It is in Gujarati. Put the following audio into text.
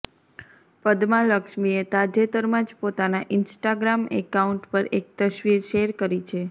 પદ્મા લક્ષ્મીએ તાજેતરમાં જ પોતાના ઈન્સ્ટાગ્રામ એકાઉન્ટ પર એક તસવીર શૅર કરી છે